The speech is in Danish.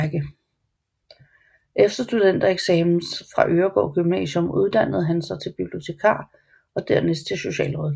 Efter studentereksamen fra Øregaard Gymnasium uddannede hun sig til bibliotekar og dernæst socialrådgiver